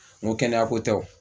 N ko kɛnɛya ko tɛ o